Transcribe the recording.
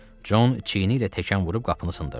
Con çiyiniylə təkan vurub qapını sındırdı.